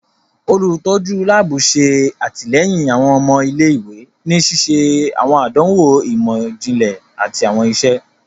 Olutọju laabu ṣe atilẹyin awọn ọmọ ilé-ìwé ni ṣiṣe awọn àdánwò imọ-jinlẹ àti awọn iṣe.